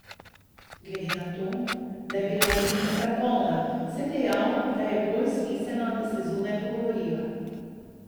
Glede na to, da je bila jedilnica polna, sem dejal, da je bolj smiselno, da se zunaj pogovoriva.